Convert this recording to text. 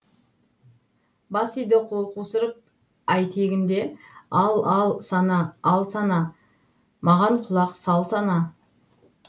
бас иді қол қусырып айтегін де ал ал сана ал сана маған құлақ сал сана